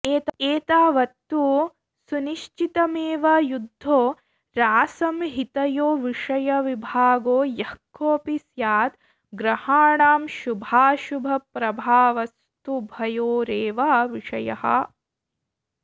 एतावत्तु सुनिश्चितमेव यद्धोरासंहितयोविषयविभागो यः कोऽपि स्यात् ग्रहाणां शुभाशुभप्रभावस्तुभयोरेव विषयः